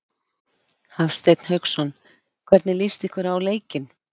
Hafsteinn Hauksson: Hvernig líst ykkur á leikinn?